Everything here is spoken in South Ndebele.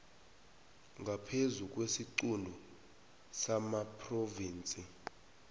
ngaphezu kwesiquntu samaphrovinsi